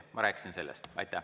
Ma rääkisin sellest.